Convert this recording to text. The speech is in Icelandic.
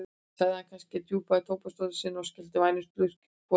sagði hann kannski og dumpaði í tóbaksdósina sína og skellti vænum slurk í hvora nös.